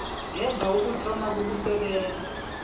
ngemva kokuthoma kokusebenza